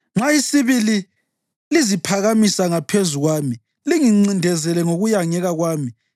Nxa isibili liziphakamisa ngaphezulu kwami, lingincindezele ngokuyangeka kwami,